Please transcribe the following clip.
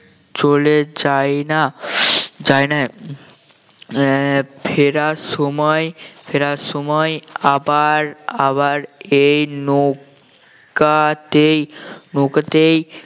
চলে যায় না যায় না আহ ফেরার সময় ফেরার সময় আবার আবার এই নৌকাতেই নৌকাতেই